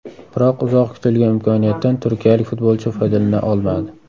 Biroq uzoq kutilgan imkoniyatdan turkiyalik futbolchi foydalana olmadi.